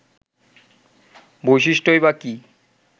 বৈশিষ্ট্যই বা কী